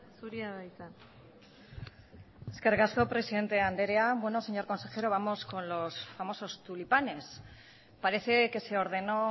zurea da hitza eskerrik asko presidente anderea bueno señor consejero vamos con los famosos tulipanes parece que se ordenó